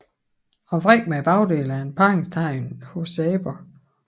At vrikke med bagdelen er et parringstegn hos aber